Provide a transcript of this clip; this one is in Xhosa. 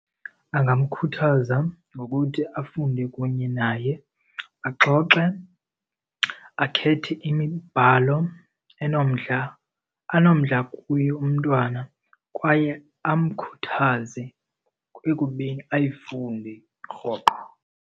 Angamkhuthaza ngokuthi afunde kunye naye, axoxe, akhethe imibhalo enomdla anomdla kuyo umntwana kwaye amkhuthaze ekubeni ayifunde rhoqo.